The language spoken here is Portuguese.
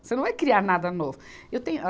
Você não vai criar nada novo. Eu tenho a